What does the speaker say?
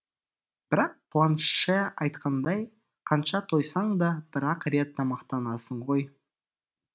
бірақ планше айтқандай қанша тойсаң да бір ақ рет тамақтанасың ғой